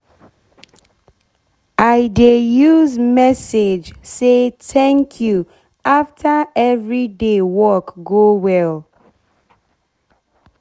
i dey use message say thanku afta every day work go well